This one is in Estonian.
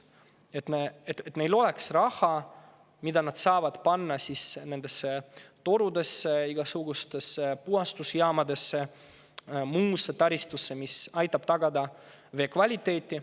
Tuleks teha nii, et me ei peaks lugema raha, mida ettevõtjad saavad panna nendesse torudesse, igasugustesse puhastusjaamadesse ja muusse taristusse, mis aitab tagada vee kvaliteeti.